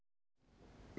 við